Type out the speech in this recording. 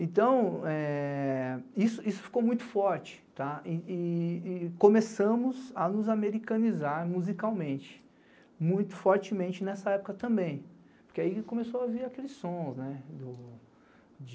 Então, é isso ficou muito forte e começamos a nos americanizar musicalmente, muito fortemente nessa época também, porque aí começou a vir aqueles sons de...